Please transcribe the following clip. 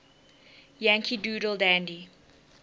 yankee doodle dandy